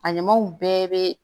A ɲamaw bɛɛ bɛ